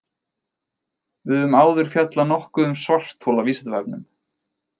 Við höfum áður fjallað nokkuð um svarthol á Vísindavefnum.